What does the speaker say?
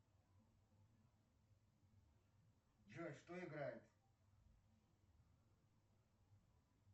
джой что играет